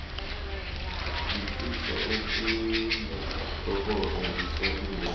ngifisa ukunithokoza ngisalindele